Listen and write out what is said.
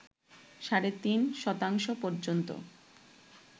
সাড়ে তিন শতাংশ পর্যন্ত